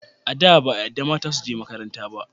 A da, ba a yarda mata su je makaranta.